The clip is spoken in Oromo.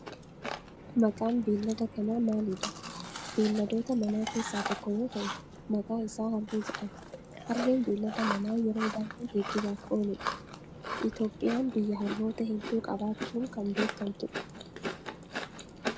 Maqaan beellada kanaa maalidha? Beelladoota mana keessaa tokko yoo ta'u maqaa isaa harree jedhama. Harreen beellada manaa yeroo baayyee geejibaaf oolu dha. Itiyoophiyaan biyya harroota heddu qabaachun kan beekamtu dha.